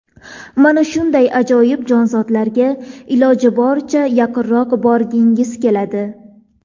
Mana shunday ajoyib jonzotlarga iloji boricha yaqinroq borgingiz keladi.